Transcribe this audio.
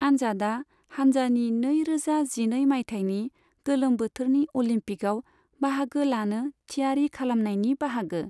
आनजादा हानजानि नै रोजा जिनै माइथायनि गोलोम बोथोरनि अलिम्पिकआव बाहागो लानो थियारि खालामनायनि बाहागो।